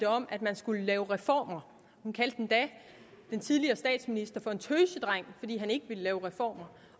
om at man skulle lave reformer hun kaldte endda den tidligere statsminister for en tøsedreng fordi han ikke ville lave reformer